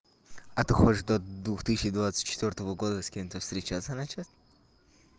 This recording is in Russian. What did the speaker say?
а ты хочешь до двух тысячи двадцать четвёртого года с кем то встречаться начать